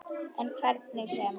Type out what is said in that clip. En hvernig sem